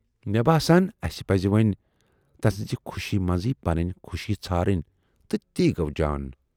مےٚ باسان اَسہِ پَزِ وۅنۍ تسٕنزِ خوشی منزٕے پنٕنۍ خوشی ژھارٕنۍ تہٕ تی گَو جان۔